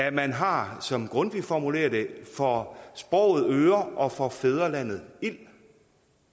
at man har som grundtvig formulerer det for sproget øre og for fædrelandet ild